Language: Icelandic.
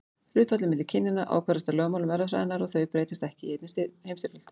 Hlutfallið milli kynjanna ákvarðast af lögmálum erfðafræðinnar og þau breytast ekki í einni heimstyrjöld.